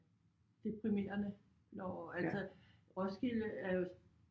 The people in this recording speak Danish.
Deprimerende når altså Roskilde er jo